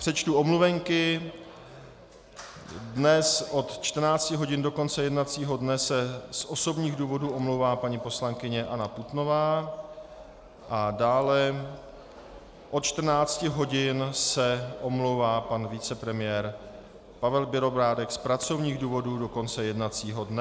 Přečtu omluvenky: dnes od 14 hodin do konce jednacího dne se z osobních důvodů omlouvá paní poslankyně Anna Putnová a dále od 14 hodin se omlouvá pan vicepremiér Pavel Bělobrádek z pracovních důvodů do konce jednacího dne.